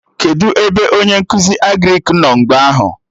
Kedụ ebe onye nkụzi Agrịk nọ mgbe ahụ?